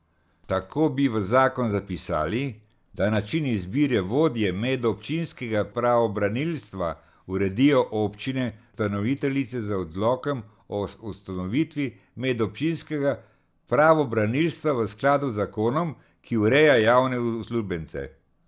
Tako bi v zakon zapisali, da način izbire vodje medobčinskega pravobranilstva uredijo občine ustanoviteljice z odlokom o ustanovitvi medobčinskega pravobranilstva v skladu z zakonom, ki ureja javne uslužbence.